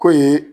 K'o ye